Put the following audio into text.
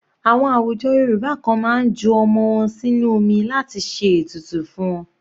Àwọn àwùjọ Yorùbá kan máa ń ju ọmọ wọn sínú omi láti ṣe ètùtù fún wọn.